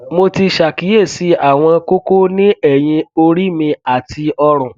mo ti ṣàkíyèsí àwọn kókó ní ẹyìn orí mi àti ọrùn